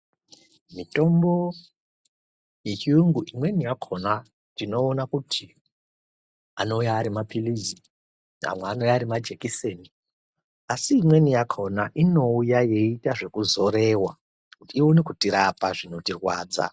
Motombo yechiyungu imweni yakhona tinoona kuti anouya ari mapilizi amwe anouya ari majikiseni asi imweni yakhona inouya yeiita zvekuzorewa kuti ione kutirapa zvinotirwadza